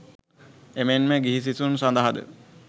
එමෙන්ම ගිහි සිසුන් සඳහාද